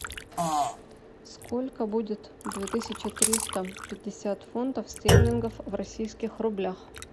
сколько будет две тысячи триста пятьдесят фунтов стерлингов в российских рублях